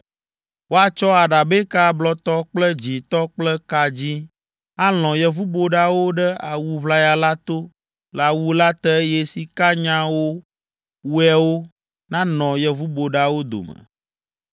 Woatsɔ aɖabɛka blɔtɔ kple dzĩtɔ kple ka dzĩ alɔ̃ yevuboɖawo ɖe awu ʋlaya la to le awu la te eye sikanyawowoewo nanɔ yevuboɖawo dome.